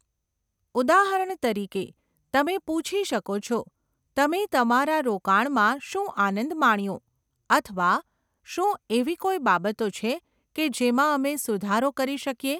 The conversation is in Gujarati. ઉદાહરણ તરીકે, તમે પૂછી શકો છો, 'તમે તમારા રોકાણમાં શું આનંદ માણ્યો?' અથવા 'શું એવી કોઈ બાબતો છે કે જેમાં અમે સુધારો કરી શકીએ?